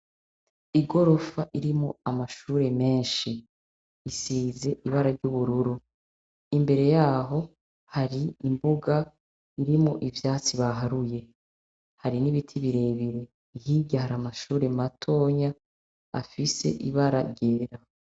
Igorofa irimwo amashuri menshi, isize ibara ry'ubururu, imbere yaho hari imbuga irimwo ivyatsi baharuye, hari n'ibiti birebire hirya har’amashuri matoya afise ibara ryera.